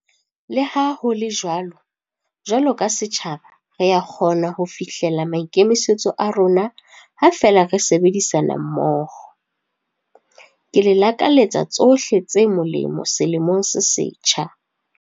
Leha ho le jwalo, jwalo ka setjhaba re a kgona ho fihlela maikemisetso a rona ha feela re sebedisana mmoho. Ke le lakaletsa tsohle tse molemo selemong se setjha.